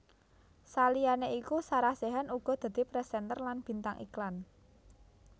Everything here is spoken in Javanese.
Saliyané iku Sarah Sechan uga dadi présènter lan bintang iklan